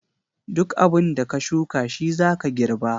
Duk abin da ka shuka shi zaka girba.